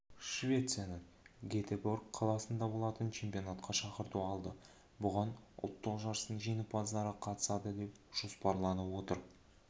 швецияның гетеборг қаласында болатын чемпионатқа шақырту алды бұған ұлттық жарыстың жеңімпаздары қатысады деп жоспарланып отыр